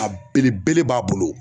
A belebele b'a bolo.